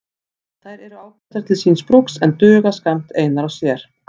Þær eru ágætar til síns brúks en duga skammt einar og sér.